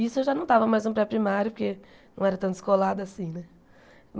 Isso eu já não estava mais no pré-primário porque não era tão descolada assim, né?